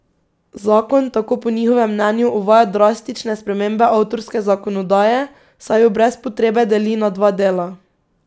Zakon tako po njihovem mnenju uvaja drastične spremembe avtorske zakonodaje, saj jo brez potrebe deli na dva dela.